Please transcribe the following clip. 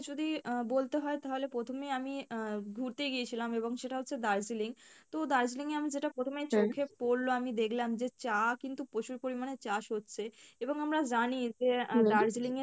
যদি আহ বলতে হয় তাহলে প্রথমে আমি আহ ঘুড়তে গিয়েছিলাম এবং সেটা হচ্ছে দার্জিলিং তো দার্জিলিং এ আমি যেটা প্রথমে চোখে পরলো আমি দেখলাম যে চা কিন্তু প্রচুর পরিমাণে চাষ হচ্ছে এবং আমরা জানি যে আহ দার্জিলিং এর